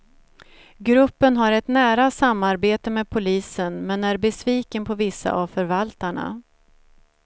Gruppen har ett nära samarbete med polisen men är besviken på vissa av förvaltarna.